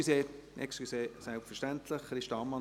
– Entschuldigung, Christa Ammann möchte noch etwas sagen.